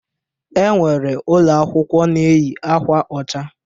E nwere ụlọakwụkwọ na-eyi akwa ọcha.